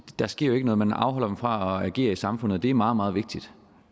der sker jo ikke noget man afholder dem fra at agere i samfundet og det er meget meget vigtigt